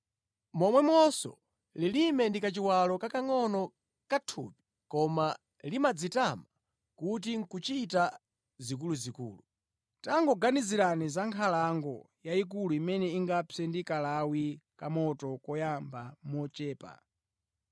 Momwemonso, lilime ndi kachiwalo kakangʼono ka thupi koma limadzitama kuti nʼkuchita zikuluzikulu. Tangoganizirani za nkhalango yayikulu imene ingapse ndi kalawi kamoto koyamba mochepa.